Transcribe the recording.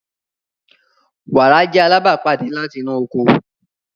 Wara jẹ alabapade lati inu oko.